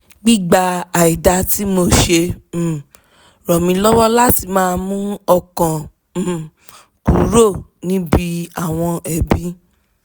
gbígba àìda tí mo ṣe um rán mi lọ́wọ́ láti máa mú ọkàn um kúrò níbi àwọn ẹ̀bi